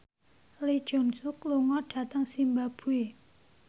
Lee Jeong Suk lunga dhateng zimbabwe